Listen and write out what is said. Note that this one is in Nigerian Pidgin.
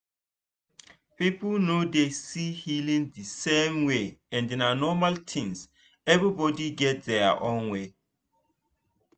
people no dey see healing the same way and na normal thin everybody get their own way.